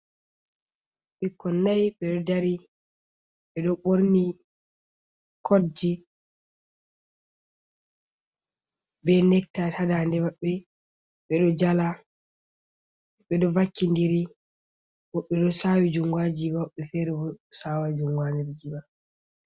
Ɓikkoi nai ɓeɗo dari, beɗo borni kodji, be nettayt hadandemaɓɓe, beɗo jala, ɓeɗo vakkindiri, woɓɓe ɓeɗo sawi jungo ha jiba, woɓɓe fere bo sawai jungo ha nder jiba.